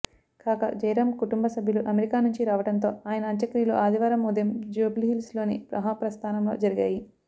కాగా జయరాం కుటుంబ సభ్యులు అమెరికా నుంచి రావడంతో ఆయన అంత్యక్రియలు ఆదివారం ఉదయం జూబ్లీహిల్స్లోని మహాప్రస్థానంలో జరిగాయి